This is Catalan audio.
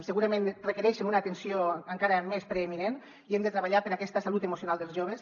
segurament requereixen una atenció encara més preeminent i hem de treballar per aquesta salut emocional dels joves